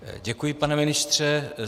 Děkuji, pane ministře.